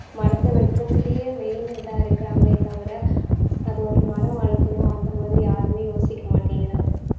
மரத்த வெட்டறதுலயே main இதா இருக்கறாங்களே தவிர அது ஒரு மரம் வளர்க்கணும் அந்த மாதிரி யாருமே யோசிக்க மாட்டேங்கிறாங்க.